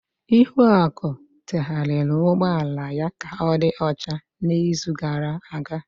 Ihuaku terehariri ụgbọ ala ya ka ọ dị ọcha n'izu gara aga.